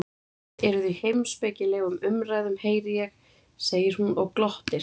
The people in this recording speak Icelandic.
Þið eruð í heimspekilegum umræðum heyri ég, segir hún og glottir.